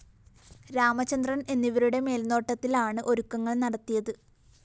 രാമചന്ദ്രന്‍ എന്നിവരുടെ മേല്‍നോട്ടത്തില്‍ലാണ് ഒരുക്കങ്ങള്‍ നടത്തിയത്